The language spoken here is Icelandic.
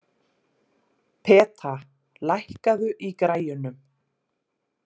Peta, lækkaðu í græjunum.